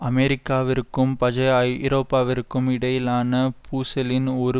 அமெரிக்காவிற்கும் பஜைய ஐரோப்பாவிற்கும் இடையிலான பூசலின் ஒரு